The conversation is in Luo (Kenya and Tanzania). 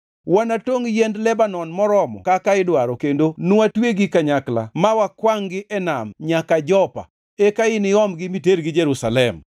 Wanatongʼ yiend Lebanon moromo kaka idwaro kendo nwatwegi kanyakla ma wakwangʼ-gi e nam nyaka Jopa, eka iniomgi mitergi Jerusalem.”